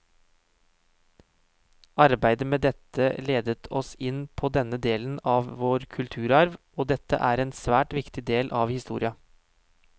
Arbeidet med dette ledet oss inn på denne delen av vår kulturarv, og dette er en svært viktig del av historia.